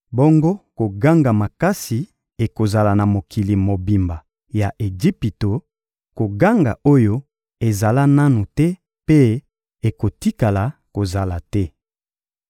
Bongo koganga makasi ekozala na mokili mobimba ya Ejipito, koganga oyo ezala nanu te mpe ekotikala kozala te.